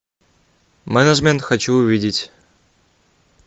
менеджмент хочу увидеть